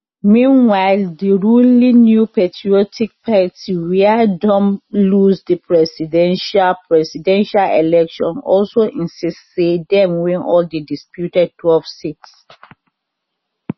meanwhile di ruling new patriotic party wia don lose di presidential presidential election also insist say dem win all di disputed twelve seats